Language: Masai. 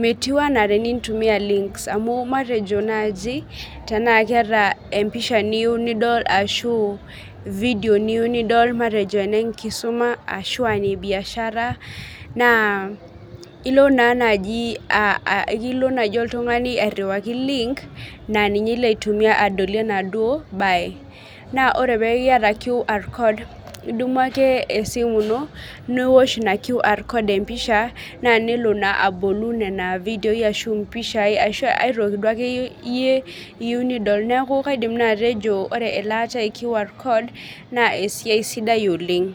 metiu anaa tenintumia links amu matejo naaji tenaa keeta empisha niyieu nidol ashu video niyieu nidol matejo enenkisuma ashua ine biashara naa ilo naa naaji uh aikilo naaji oltung'ani airriwaki link naa ninye ilo aitumia adolie enaduo baye naa ore peku iyata QR code idumu ake esimu ino niwosh ina QR code empisha naa nelo naa abolu nana vidioi ashu impishai ashu ae toki duakeyie iyie iyieu nidol neku kaidim naa atejo ore elaata e QR code naa esiai sidai oleng.